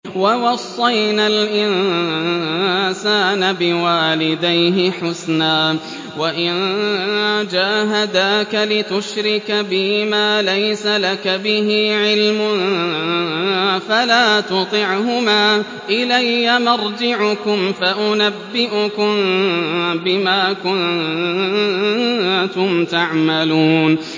وَوَصَّيْنَا الْإِنسَانَ بِوَالِدَيْهِ حُسْنًا ۖ وَإِن جَاهَدَاكَ لِتُشْرِكَ بِي مَا لَيْسَ لَكَ بِهِ عِلْمٌ فَلَا تُطِعْهُمَا ۚ إِلَيَّ مَرْجِعُكُمْ فَأُنَبِّئُكُم بِمَا كُنتُمْ تَعْمَلُونَ